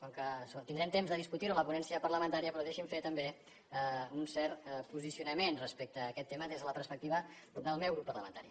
com que això tindrem temps de discutir ho a la ponència parlamentària però deixin me fer també un cert posicionament respecte a aquest tema des de la perspectiva del meu grup parlamentari